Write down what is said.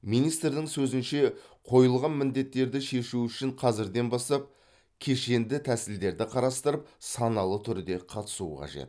министрдің сөзінше қойылған міндеттерді шешу үшін қазірден бастап кешенді тәсілдерді қарастырып саналы түрде қатысу қажет